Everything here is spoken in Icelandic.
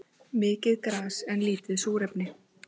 Mikið gas en lítið súrefni